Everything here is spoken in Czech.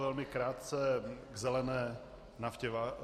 Velmi krátce k zelené naftě.